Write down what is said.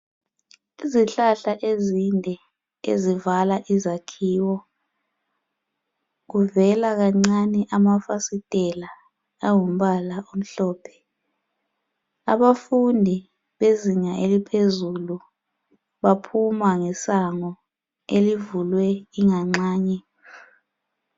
Izihlahla ezide ezivala izakhiwo kuvela kancane amafastilela angumbala omhlophe abafundi bezinga eliphezulu baphuma ngesango elivulwe inganxanye.